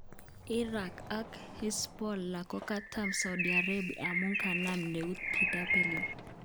Iran ak Hezbollah kokatam saudi Arabia amun kanap neut Bw.